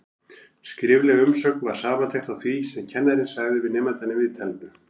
Skrifleg umsögn var samantekt á því sem kennarinn sagði við nemandann í viðtalinu.